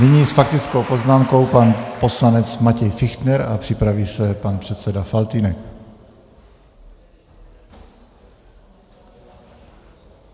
Nyní s faktickou poznámkou pan poslanec Matěj Fichtner a připraví se pan předseda Faltýnek.